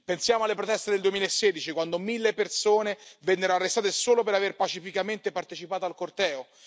Pensiamo alle proteste del 2016, quando mille persone vennero arrestate solo per aver pacificamente partecipato al corteo